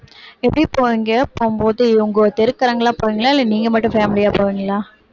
எப்படி போவீங்க போகும்போது உங்க தெருக்காரங்க எல்லாம் போறீங்களா இல்ல நீங்க மட்டும் family யா போவீங்களா